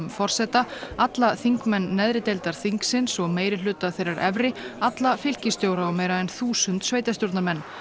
forseta alla þingmenn neðri deildar þingsins og meirihluta þeirrar efri alla fylkisstjóra og meira en þúsund sveitastjórnarmenn